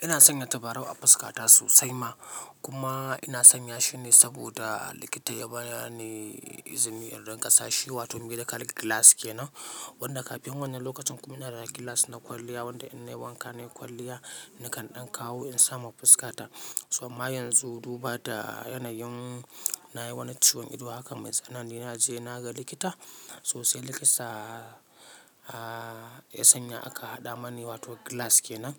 Ina sanya tabarau a fuska ta sosai ma kuma ina sanya shi ne saboda likita ya bani izini idan kasashe wato medical glass kenan wanda kafin wannan lokacin kuma ina da glass na kwalliya wanda ina wanka nayi kwalliya nakan ɗauko in sa ma fuska ta. Amma yanzu duba da yanayin na yi wani ciwon ido haka mai tsanani na je na ga likita sosai likita ya sanya aka haɗa mani wato glass kenan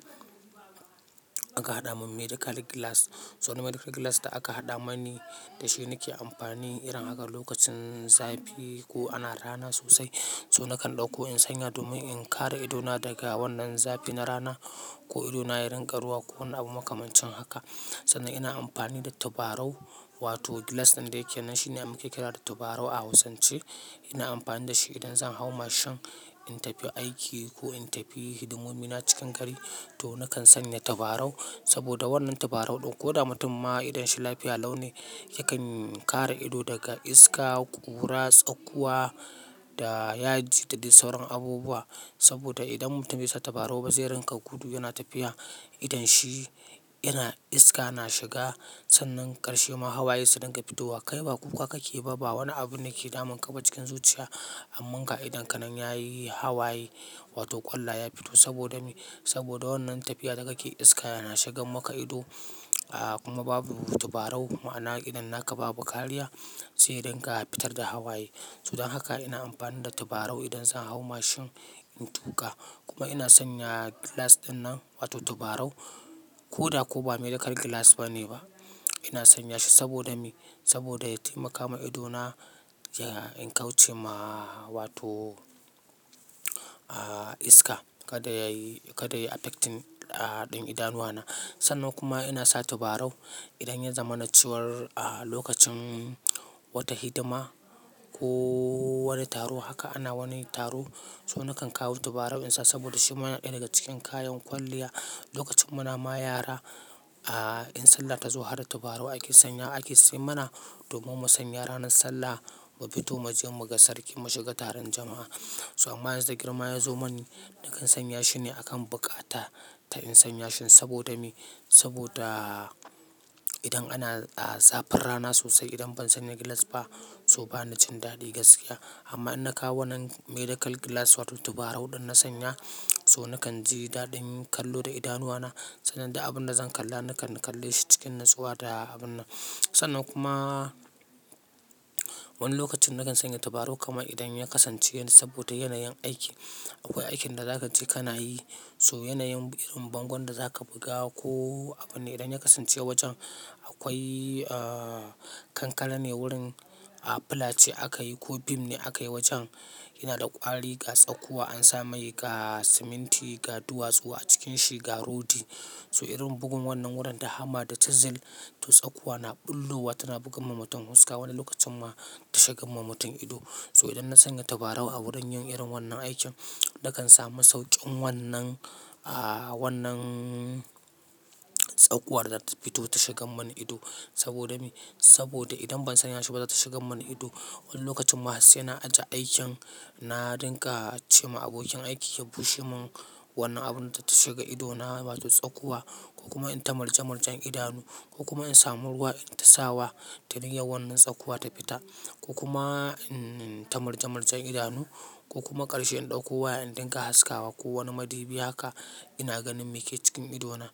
aka hada min medical glass so wannan medical glass da aka hada mini dashi nake amfani irin haka lokacin zafi ko ana ruwa idona da rana. Sannan ina amfani da tabarau wato glass ɗin da yake nan shine ake kira da tabarau a hausance ina amfani da shi idan zan hau mashin in tafi aiki ko in tafi hidimomi na cikin gari to nakan sanya tabarau saboda wannan tabarau ɗin ko da mutum ma idon shi lafiya lau ne yakan kare ido daga iska, ƙura, tsakuwa da yaji da sauran abubuwa. Saboda idan mutum baisa tabarau ba zai rinka guda yana tafiya idon shi yana iska na shiga sannan karshe ma hawaye su dinga fito wa kai ba kuka kake ba wani abu ne ke damun ka ba cikin zuciya amman ga idon ka nan yayi hawaye wato ƙwalla ya fito saboda me? Saboda wannan tafiya da kake iska yana shigan maka ido a kuma babu tabarau ma'ana idan naka ba buƙari ba sai dinga fitar da hawaye. Saboda haka ina amfani da tabarau idan zan hau mashin in tuka kuma ina sanya glass dinnan wato tabarau ko da ko ba medical glass bane ba ina sanya shi saboda me saboda ya taimaka ma ido na ya in kauce ma wato iska kada yayi kada yayi affect ɗin idanuwana. Sannan kuma ina sa tabarau idan ya zama na ciwon a lokacin wata hidima ko wani taro haka ana wani taro so nakan kawo tabarau in sa saboda shi ma yana ɗaya daga cikin kayan kwalliya lokacin muna mayara a in sallah ta zo har tabarau ake sanya ake sai mana domin mu sanya ranar sallah mu fito mu je mu ga sarki mu shiga taron jama'a. So amma yanzu da girma ya zo mani nakan sanya shi ne akan buƙata ta in sanya shi saboda me saboda idan ana zafin rana sosai idan ban sanya glass ba so ba ni cin daɗi gaskiya. Amma in na kawo wannan medical glass wato tabarau ɗin na sanya so nakan ji daɗin kallo da idanuwana sannan da abun da zan kalla nakan kalle shi cikin natsuwa da abun nan. Sannan kuma wani lokacin nakan sanya tabarau kamar ya kasan ce saboda yanayin aiki akwai aikin da zakaje kanayi saboda yanayin bango inka buga a kankara ne wurin a filace aka yi ko beam ne aka yi wajen yana da ƙwari ga tsakuwa an sa mai ga siminti ga duwatsu a cikin shi ga rodi. So irin bugun wannan wurin da hama da chisel to tsakuwa na ɓullowa tana buga ma mutum fuska wani lokacin ma ta shigan ma mutum ido. So idan na sanya tabarau a wurin yin irin wannan aikin nakan samu sauƙin wannan a wannan tsakuwar da ta fito ta shigan mani ido saboda me saboda idan ban sanya shi ba za ta shigan mani ido. Wani lokacin ma har saina ajiye aikin nadinga cema abokin aikina ya bushe min wannan abin da tashiga idona wato tsakuwa ko kuma ita murje murje idonu ko insamu ruwa ita sawa tana yin wannan tsakuwa ta fita ko kuma in ta malja maljan idanu ko kuma karshe in ɗauko waya in dinga haskawa ko wani madubi haka ina ganin meke cikin ido na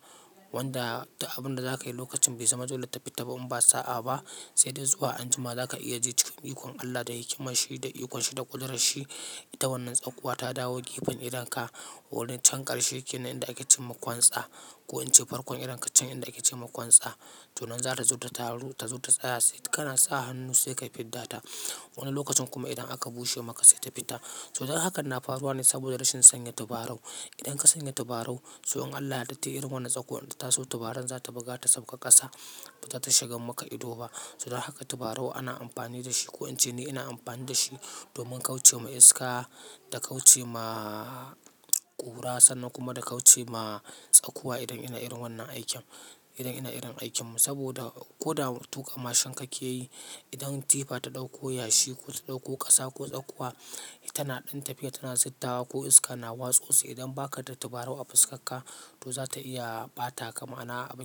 wanda abun da zakayi lokacin bai zama dole ta fita ba in ba sa'a ba sai dai zuwa anjima zaka iya je cikin ikon Allah da hikimashi da ikonshi da kuɗarshi ita wannan tsakuwa ta dawo gefen idon ka wani can karshe kenan idan ake cin makon tsa ko in ce farkon idan kacan idan ake cin makon tsa. To nan za ta zo ta taro ta zo ta tsaya sai kana sa hannu sai ka fidda ta. Wani lokacin kuma idan aka bushe maka sai ta fita. So don haka nafaruwa ne saboda rashin sanya tabarau. Idan ka sanya tabarau so in Allah ya daɗe irin wannan tsakuwar da ta zo tabarau za ta buga ta tsabka ƙasa ba ta shigan maka ido ba. So don haka tabarau ana amfani da shi ko in ce ni ina amfani da shi domin kauce ma iska da kauce ma ƙura sannan kuma da kauce ma tsakuwa idan ina irin wannan aikin idan ina irin aikin saboda ko da tuƙa mashin kake yi idan tifa ta ɗauko yashi ko ta ɗauko ƙasa ko tsakuwa tana ɗin tafiya tana zittawa ko iska na watsa su idan baka da tabarau a fuska ka to za ta iya ɓata ka ma'ana abun.